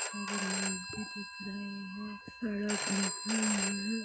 सभी लोग भी दिख रहे है सड़क दिख रही है।